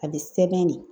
A bɛ sɛbɛn ne